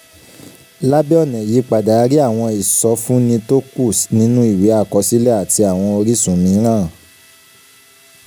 lábẹ́ ọ̀nà ìyípadà a rí àwọn ìsọfúnni tó kù nínú ìwé àkọsílẹ̀ àti àwọn orísun mìíràn